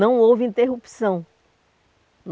Não houve interrupção.